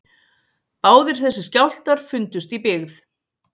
Báðir þessir skjálftar fundust í byggð